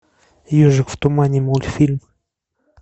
ежик в тумане мультфильм